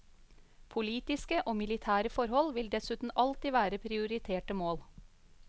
Politiske og militære forhold vil dessuten alltid være prioriterte mål.